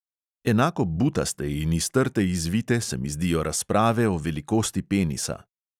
Enako butaste in iz trte izvite se mi zdijo razprave o velikosti penisa.